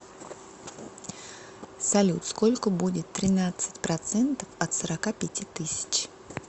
салют сколько будет тринадцать процентов от сорока пяти тысяч